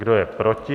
Kdo je proti?